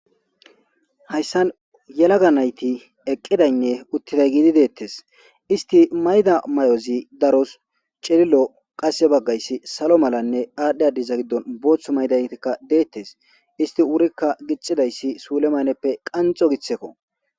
Hayssan yelaga nayti eqqidaynne uttiday giidi deettes isti mayda may'ozi daros celillo qasse baggayssi salo malanne aadhdhe adiza giddon boothu maydaytikka deettes isti wurikka gixidayssi suule mayneppe qanxo githeko.